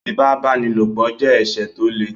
Ífipá-báni-lòpọ̀ jẹ́ ẹ̀ṣẹ̀ tó le